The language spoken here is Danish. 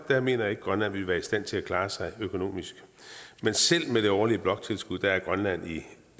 mener at grønland ville være i stand til at klare sig økonomisk men selv med det årlige bloktilskud er grønland